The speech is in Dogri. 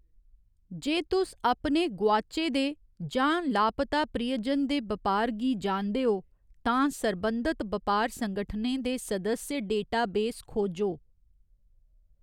जे तुस अपने गोआचे दे जां लापता प्रियजन दे बपार गी जानदे ओ, तां सरबंधत बपार संगठनें दे सदस्य डेटाबेस खोजो।